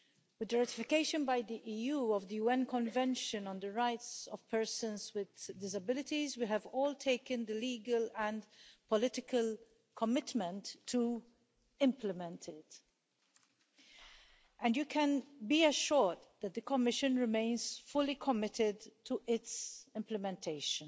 The ratification by the EU of the UN Convention on the Rights of Persons with Disabilities we have all taken the legal and political commitment to implement it, and you can be assured that the Commission remains fully committed to its implementation.